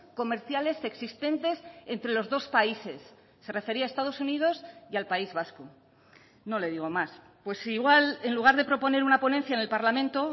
comerciales existentes entre los dos países se refería a estados unidos y al país vasco no le digo más pues igual en lugar de proponer una ponencia en el parlamento